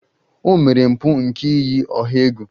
O mere mpụ nke iyi ọha egwu.